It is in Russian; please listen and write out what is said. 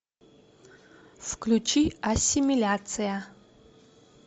включи ассимиляция